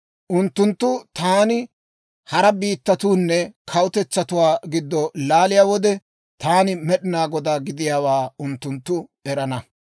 «Unttunttaa taani hara biittatuunne kawutetsatuwaa giddo laaliyaa wode, taani Med'inaa Godaa gidiyaawaa unttunttu erana.